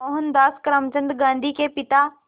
मोहनदास करमचंद गांधी के पिता